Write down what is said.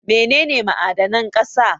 Mene ne ma'adanan ƙasa?